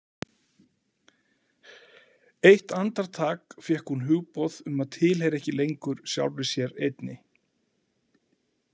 Eitt andartak fékk hún hugboð um að tilheyra ekki lengur sjálfri sér einni.